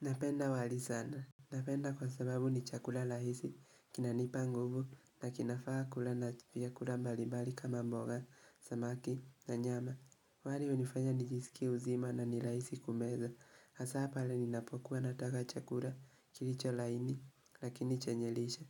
Napenda wali sana. Napenda kwa sababu ni chakula lahisi, kinanipa nguvu, na kinafa kula na chupia kula mbalibali kama mboga, samaki, na nyama. Wali unifanya nijisiki uzima na nilahisi kumeza. Asa pala ninapokuwa nataka chakula kilicho laini, lakini chenye lishe.